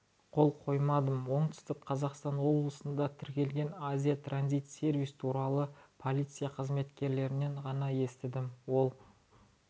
қол қоймадым оңтүстік қазақстан облысында тіркелген азия транзит сервис туралы полиция қызметкерлерінен ғана естідім ол